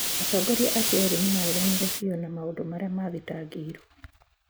Atongoria acio erĩ nĩ maareganire biũ na maũndũ marĩa maathitangĩirũo.